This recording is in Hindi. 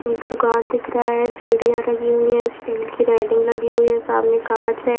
एक दुकान दिख रहा है सीढ़ियां लगी हुई है स्टील की रेलिंग लगी हुई है सामने कांच है।